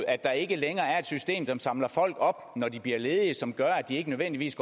at der ikke længere er et system som samler folk op når de bliver ledige og som gør at de ikke nødvendigvis